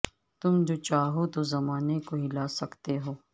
تم جو چاہو تو زمانے کو ہلا سکتے ہو